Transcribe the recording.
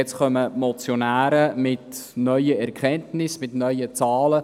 Nun kommen die Motionäre mit neuen Erkenntnissen und neuen Zahlen.